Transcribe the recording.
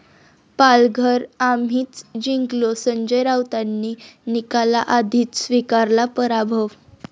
पालघर आम्हीच जिंकलो, संजय राऊतांनी निकालाआधीच स्वीकारला 'पराभव'